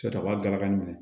Sɔrɔ a b'a gagali minɛ